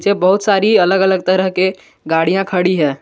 ये बहुत सारी अलग अलग तरह के गाड़ियां खड़ी है।